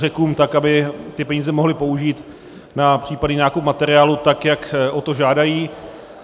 Řekům tak, aby ty peníze mohli použít na případný nákup materiálu, tak jak o to žádají.